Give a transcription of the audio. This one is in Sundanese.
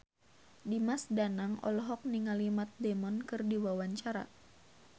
Dimas Danang olohok ningali Matt Damon keur diwawancara